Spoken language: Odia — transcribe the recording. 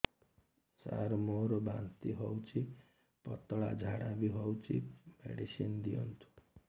ସାର ମୋର ବାନ୍ତି ହଉଚି ପତଲା ଝାଡା ବି ହଉଚି ମେଡିସିନ ଦିଅନ୍ତୁ